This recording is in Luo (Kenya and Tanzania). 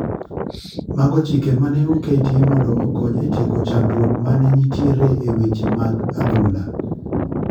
Mago chike mane oketi mondo okony e tieko chandruok mag mane nitiere e weche mag adhula.